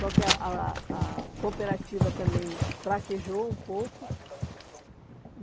Só que a a a a cooperativa também fraquejou um pouco.